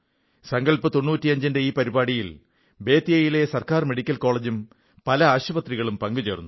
സങ്കൽപ് 95 ന്റെ ഈ പരിപാടിയിൽ ബേതിയയിലെ ഗവൺമെന്റ് മെഡിക്കൽ കോളജും പല ആശുപത്രികളും പങ്കുചേർന്നു